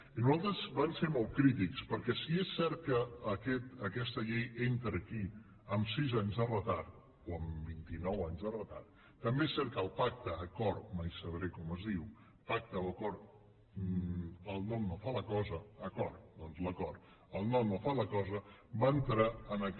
i nosaltres vam ser molt crítics perquè si és cert que aquesta llei entra aquí amb sis anys de retard o amb vint i nou anys de retard també és cert que el pacte acord mai sabré com es diu pacte o acord el nom no fa la cosa acord doncs l’acord va entrar en aquest